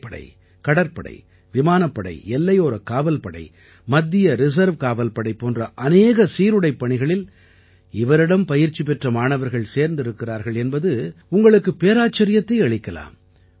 தரைப்படை கடற்படை விமானப்படை எல்லையோரக் காவல்படை மத்திய ரிசர்வ் காவல்படை போன்ற அநேக சீருடைப் பணிகளில் இவரிடம் பயிற்சி பெற்ற மாணவர்கள் சேர்ந்திருக்கிறார்கள் என்பது உங்களுக்குப் பெருவியப்பை அளிக்கலாம்